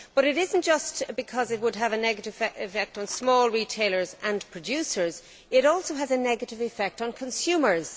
But it is not just because it would have a negative effect on small retailers and producers, it also has a negative effect on consumers.